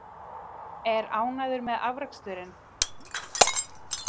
Er ánægður með afraksturinn?